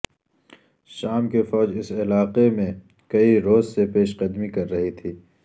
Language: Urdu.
شام کی فوج اس علاقے میں کئی روز سے پیش قدمی کر رہی تھی